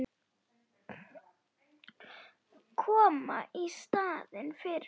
Koma í staðinn fyrir hann.